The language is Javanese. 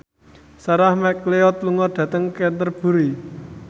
Sarah McLeod lunga dhateng Canterbury